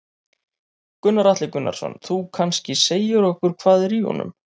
Gunnar Atli Gunnarsson: Þú kannski segir okkur hvað er í honum?